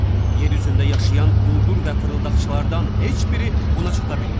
Yer üzündə yaşayan quldur və fırıldaqçılardan heç biri buna çata bilməz.